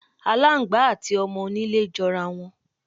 Aláǹgbá àti o̩mo̩-onílé jo̩rá wo̩n.